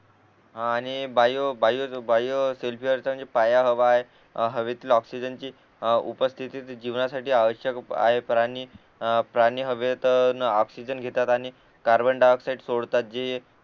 हा आणि bio bio bio सेल्फीचा पाया हवा आहे हवेतील ऑक्सिजनची उपस्थिती जीवनासाठी आवश्यक आहे प्राणी अ प्राणी हवेतून ऑक्सिजन घेतात आणि कार्बन डाय ऑक्साईड सोडतात जे